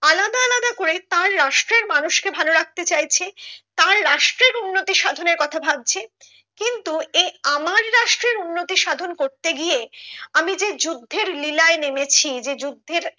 আলাদা আলাদা করে তার রাষ্ট্রের মানুষকে ভালো রাখতে চাইছে তার রাষ্ট্রের উন্নতি সাধনের কথা ভাবছে কিন্তু এ আমার রাষ্ট্রের উন্নতি সাধন করতে গিয়ে আমি যে যুদ্ধের লীলায় নেমেছি যে যুদ্ধের